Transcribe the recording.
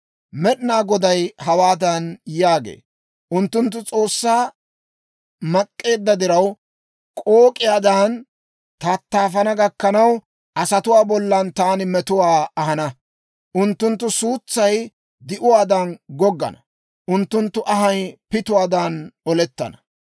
Med'inaa Goday hawaadan yaagee; «Unttunttu S'oossaa naak'k'eedda diraw, k'ook'iyaadan tattaafana gakkanaw, asatuwaa bollan taani metuwaa ahana. Unttunttu suutsay di'uwaadan goggana; unttunttu anhay pituwaadan olettana.